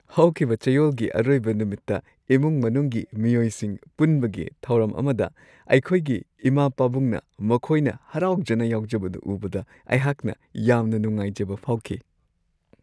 ꯍꯧꯈꯤꯕ ꯆꯌꯣꯜꯒꯤ ꯑꯔꯣꯏꯕ ꯅꯨꯃꯤꯠꯇ ꯏꯃꯨꯡ-ꯃꯅꯨꯡꯒꯤ ꯃꯤꯑꯣꯏꯁꯤꯡ ꯄꯨꯟꯕꯒꯤ ꯊꯧꯔꯝ ꯑꯃꯗ ꯑꯩꯈꯣꯏꯒꯤ ꯏꯃꯥ-ꯄꯥꯕꯨꯡꯅ ꯃꯈꯣꯏꯅ ꯍꯔꯥꯎꯖꯅ ꯌꯥꯎꯖꯕꯗꯨ ꯎꯕꯗ ꯑꯩꯍꯥꯛꯅ ꯌꯥꯝꯅ ꯅꯨꯡꯉꯥꯏꯖꯕ ꯐꯥꯎꯈꯤ ꯫